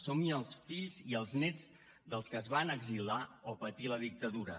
som els fills i els nets dels que es van exiliar o patir la dictadura